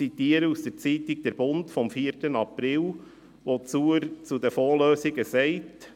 Ich zitiere aus der Zeitung «Der Bund» vom 4. April, wo er zu den Fondslösungen sagt: